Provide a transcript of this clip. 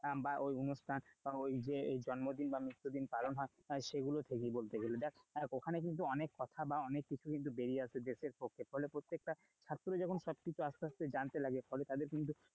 বা ওই অনুষ্ঠান বা জন্মদিন বা মৃত্যু দিন পালন হয় সেগুলো থেকে বলতে গেলে দেখো ওখানে কিন্তু অনেক কথা বা অনেক কিছু বেরিয়ে আসে দেশের পক্ষে হলে প্রত্যেকটা ছাত্র যখন আস্তে আস্তে জানতে লাগে ফলে তাদের কিন্তু,